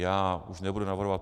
Já už nebudu navrhovat